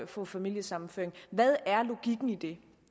få familiesammenføring hvad er logikken i det